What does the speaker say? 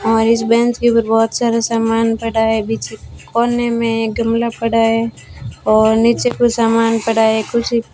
और इस बेंच के ऊपर बहुत सारे सामान पड़ा है बीच कोने में एक गमला पड़ा है और नीचे कोई सामान पड़ा है कुर्सी --